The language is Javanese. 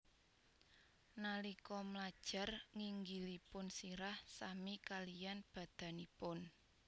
Nalika mlajar nginggilipun sirah sami kaliyan badanipun